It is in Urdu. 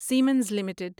Simmons limited